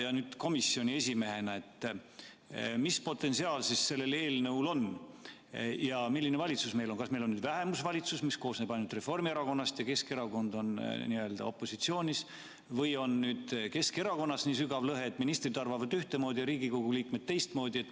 Ja mida te komisjoni esimehena arvate, mis potentsiaal siis sellel eelnõul on ja milline valitsus meil on: kas meil on vähemusvalitsus, mis koosneb ainult Reformierakonnast, ja Keskerakond on n-ö opositsioonis, või on Keskerakonnas nii sügav lõhe, et ministrid arvavad ühtemoodi ja Riigikogu liikmed teistmoodi?